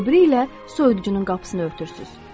O biri ilə soyuducunun qapısını örtürsüz.